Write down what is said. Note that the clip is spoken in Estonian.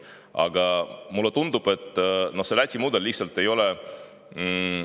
Aga mulle tundub, et see Läti mudel on liiga keeruline.